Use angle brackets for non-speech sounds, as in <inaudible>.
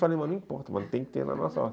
Eu falei, não importa, tem que ter na nossa horta <laughs>